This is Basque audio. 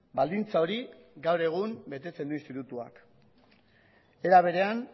baldintza hori gaur egun betetzen du institutuak era berean